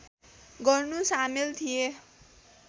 गर्नु सामेल थिए